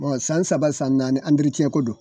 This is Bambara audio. san saba san naani ko don.